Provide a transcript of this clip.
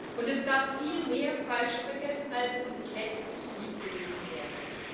Und es gab viel mehr Fallstricke, als uns letztlich lieb gewesen wäre.